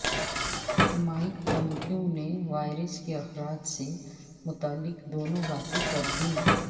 Mike Pompeo نے virus کے اخراج سے متعلق دونوں باتیں کر دیں